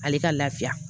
Ale ka lafiya